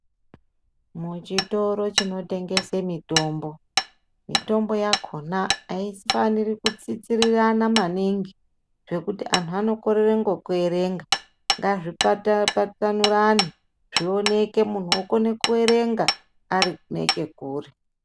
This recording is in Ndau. Mu chitoro chino tengese mitombo mitombo yakona aifaniri ku tsitsirana maningi zvekuti anhu ano korere ngeku erenga ngazvi patsanurane zvioneke munhu okone ku erenga ari neche kure.